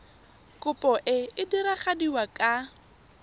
kopo e e diragadiwa ka